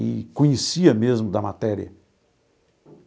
E conhecia mesmo da matéria.